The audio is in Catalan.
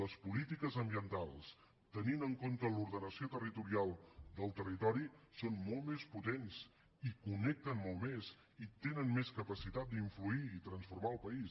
les polítiques ambientals tenint en compte l’ordenació territorial del territori són molt més potents i connecten molt més i tenen més capacitat d’influir i transformar el país